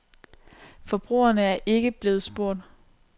Forbrugerne er ikke blevet spurgt.